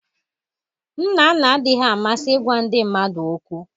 Nnanna adịghị amasị ịgwa ndị mmadụ okwu